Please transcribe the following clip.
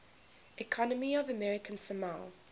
economy of american samoa